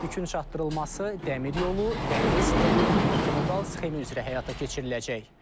Yükün çatdırılması dəmir yolu, dəniz, dəmir yolu multimodal sxemi üzrə həyata keçiriləcək.